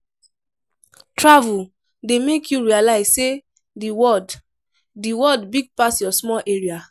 Travel dey make you realize sey the world the world big pass your small area.